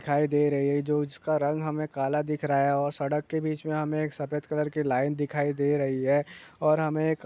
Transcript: दिखाई दे रहे है जो इसका रंग हमे कला दिख रहा है और सड़क के बिच में हमें एक सफ़ेद कलर की लाइन दिखाई दे रही है और महे एक --